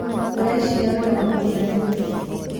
ũreciria wĩra wa mũgũnda nĩ mũritũ.